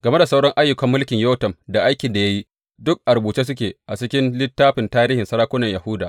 Game da sauran ayyukan mulkin Yotam da aikin da ya yi, duk a rubuce suke a cikin littafin tarihin sarakunan Yahuda.